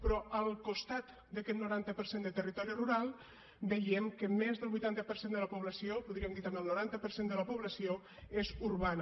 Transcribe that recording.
però al costat d’aquest noranta per cent de territori rural veiem que més del vuitanta per cent de la població podríem dir també el noranta per cent de la població és urbana